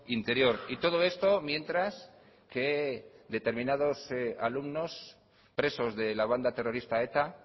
interior y todo esto mientras que determinados alumnos presos de la banda terrorista eta